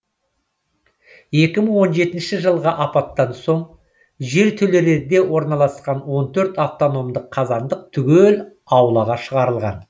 екі мың он жетінші жылғы апаттан соң жертөлелерде орналасқан он төрт автономдық қазандық түгел аулаға шығарылған